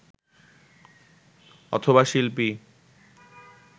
অথবা শিল্পী